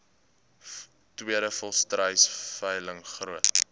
tweede volstruisveiling groot